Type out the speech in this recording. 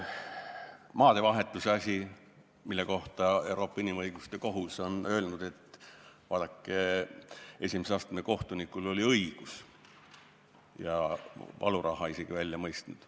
Maadevahetuse asi, mille kohta Euroopa Inimõiguste Kohus on öelnud, et vaadake, esimese astme kohtunikul oli õigus, ja isegi valuraha välja mõistnud.